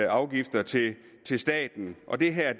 afgifter til til staten og det her er